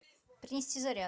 принести заряд